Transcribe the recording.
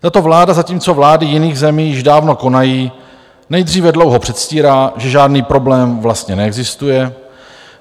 Tato vláda, zatímco vlády jiných zemí již dávno konají, nejdříve dlouho předstírá, že žádný problém vlastně neexistuje.